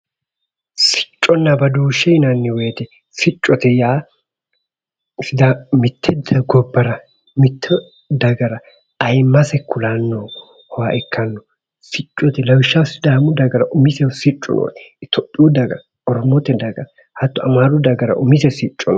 Sicconna badooshshe yinanni woyiite siccote yaa mitte gobbara mitte dagara ayiimmase kulannoha ikkanno, siccote lawishshaho sidaamu dagara umisehu siccu noote. Sidaamu daga Oromote daga Amaaru dagara umise sicco no.